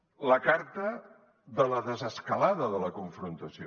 la carta de la desescalada de la confrontació